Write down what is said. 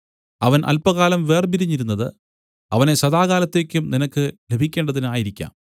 അവൻ അല്പകാലം വേർപിരിഞ്ഞിരുന്നത് അവനെ സദാകാലത്തേക്കും നിനക്ക് ലഭിക്കേണ്ടതിന് ആയിരിക്കാം